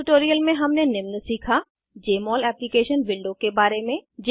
इस ट्यूटोरियल में हमने निम्न सीखा जमोल एप्लीकेशन विंडो के बारे में